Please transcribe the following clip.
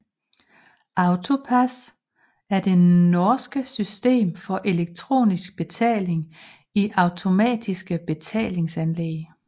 AutoPASS er det norske system for elektronisk betaling i automatiske betalinganlæg